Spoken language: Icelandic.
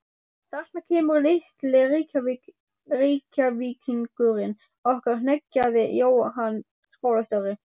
Þarna kemur litli Reykvíkingurinn okkar hneggjaði Jóhann skólastjóri.